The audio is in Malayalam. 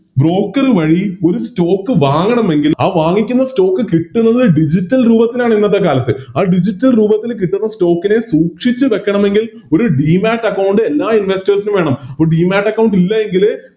Broker വഴി ഒരു Stock വാങ്ങണമെങ്കിൽ ആ വാങ്ങിക്കുന്ന Stock കിട്ടുന്നത് Digital രൂപത്തിലാണിന്നത്തെ കാലത്ത് ആ Digital രൂപത്തിൽ കിട്ടുന്ന Stock നെ സൂക്ഷിച്ച് വെക്കണമെങ്കിൽ ഇന്നത്തെക്കാലത്ത് ഒര് Demat account എല്ലാ Investors നും വേണം Demat account ഇല്ലായെങ്കില്